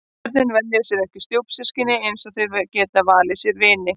Börnin velja sér ekki stjúpsystkini eins og þau geta valið sér vini.